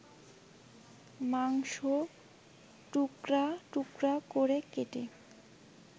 মাংসটুকরা টুকরা করে কেটে